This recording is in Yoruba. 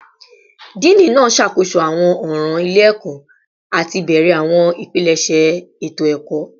Dean naa ṣakoso awọn ọran ile-ẹkọ ati bẹrẹ awọn ipilẹṣẹ eto-ẹkọ